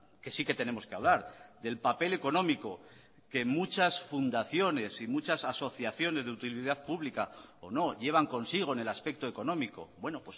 que sí que tenemos que hablar del papel económico que muchas fundaciones y muchas asociaciones de utilidad pública o no llevan consigo en el aspecto económico bueno